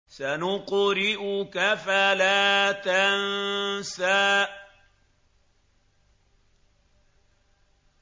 سَنُقْرِئُكَ فَلَا تَنسَىٰ